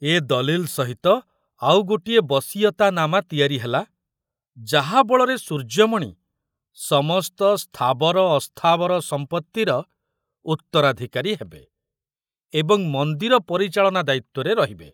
ଏ ଦଲିଲ ସହିତ ଆଉ ଗୋଟିଏ ବସୀୟତାନାମା ତିଆରି ହେଲା ଯାହା ବଳରେ ସୂର୍ଯ୍ୟମଣି ସମସ୍ତ ସ୍ଥାବର ଅସ୍ଥାବର ସମ୍ପରିର ଉତ୍ତରାଧୁକାରୀ ହେବେ ଏବଂ ମନ୍ଦିର ପରିଚାଳନା ଦାୟିତ୍ବରେ ରହିବେ।